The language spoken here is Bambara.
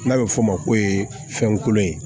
N'a bɛ f'o ma ko fɛn kolon ye